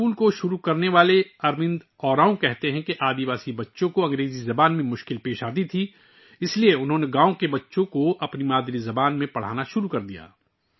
اس school کو شروع کرنے والے اروند اراؤں کا کہنا ہے کہ قبائلی بچوں کو انگریزی زبان میں دشواری ہوتی تھی، اس لیے انھوں نے گاؤں کے بچوں کو ان کی مادری زبان میں پڑھانا شروع کیا